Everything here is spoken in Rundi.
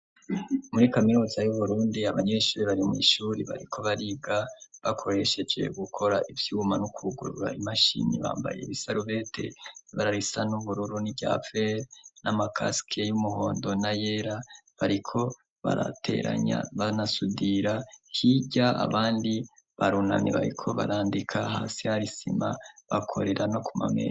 muri kaminuza y'uburundi abanyeshure bari mw' ishure bariko bariga bakoresheje gukora ivyuma no kugurura imashini bambaye ibisarubete yibara risa n'ubururu n'ivyapfere n'amakaske y'umuhondo na yera bariko barateranya banasudira hirya abandi barunamye bariko barandika hasi hari sima bakorera no ku mameza